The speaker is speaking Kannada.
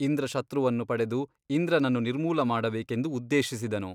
ಇಂದ್ರಶತ್ರುವನ್ನು ಪಡೆದು ಇಂದ್ರನನ್ನು ನಿರ್ಮೂಲ ಮಾಡಬೇಕೆಂದು ಉದ್ದೇಶಿಸಿದನು.